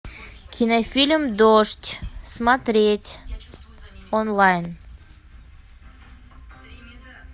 кинофильм дождь смотреть онлайн